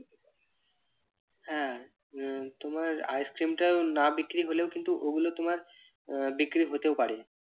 হ্যাঁ আহ তোমার ice cream না বিক্রি হলেও কিন্তু ওগুলো তোমার আহ বিক্রি হতেও পারে।